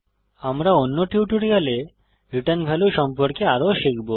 আমরা অন্য টিউটোরিয়ালে রিটার্ন ভ্যালু সম্পর্কে আরও শিখব